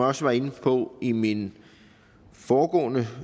også var inde på i min foregående